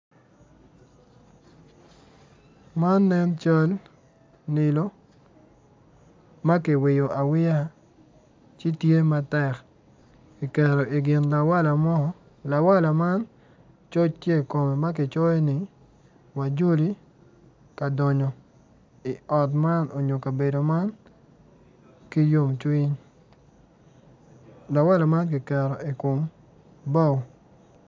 Man nen cal nilo ma kiwiyo awiya ci tye matek kiketo i gin lawala mo lawala man coc tye i kome ma kicoyo ni wajoli ka donyo i ot man nyo ikabedo man ki yomcwiny.